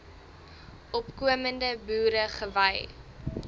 opkomende boere gewy